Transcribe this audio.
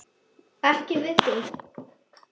Ekki við þig.